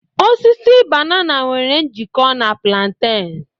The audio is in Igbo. Osisi banana nwere njikọ na plantain